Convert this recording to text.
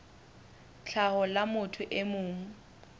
tlhaho la motho e mong